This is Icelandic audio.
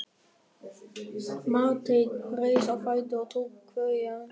Marteinn reis á fætur og tók kveðju hans.